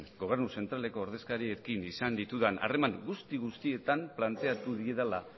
gobernu zentraleko ordezkariekin izan ditudan harreman guzti guztietan planteatu direla